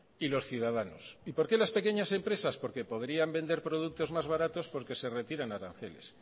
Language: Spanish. y los ciudadanos y por qué las pequeñas empresas porque podrían vender productos más baratos porque se retiran aranceles